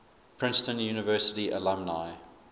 princeton university alumni